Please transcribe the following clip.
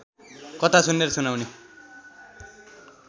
कथा सुन्ने र सुनाउने